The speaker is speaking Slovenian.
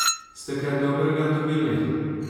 Ste kaj dobrega od tega dobili?